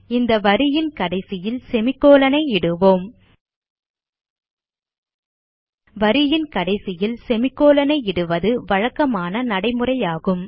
இந்த வரியின் கடைசியில் செமிகோலன் ஐ இடுவோம் வரியின் கடைசியில் செமிகோலன் ஐ இடுவது வழக்கமான நடைமுறையாகும்